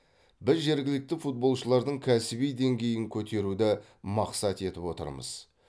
біз жергілікті футболшылардың кәсіби деңгейін көтеруді мақсат етіп отырмыз